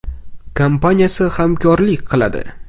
kompaniyasi hamkorlik qiladi.